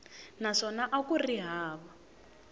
naswona a ku ri hava